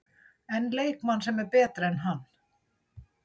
En leikmann sem er betri en hann?